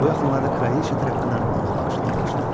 Bu yaxınlarda kraliçə tərəfindən ona bağışlanmışdı.